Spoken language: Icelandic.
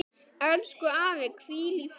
Elsku afi, hvíl í friði.